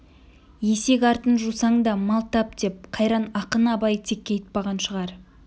есек артын жусаң да мал тап деп қайран ақын абай текке айтпаған шығар